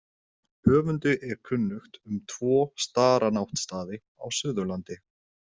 Höfundi er kunnugt um tvo staranáttstaði á Suðurlandi.